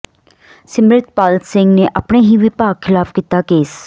ਸਿਮਰਤਪਾਲ ਸਿੰਘ ਨੇ ਆਪਣੇ ਹੀ ਵਿਭਾਗ ਖਿਲਾਫ ਕੀਤਾ ਕੇਸ